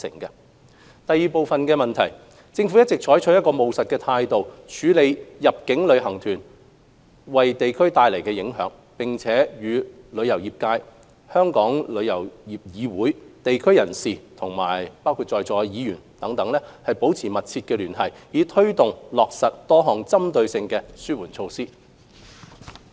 二政府一直採取務實的態度，處理入境旅行團為地區帶來的影響，並與旅遊業界、香港旅遊業議會、地區人士和議員等保持緊密聯繫，以推動落實多項針對性的紓緩措施。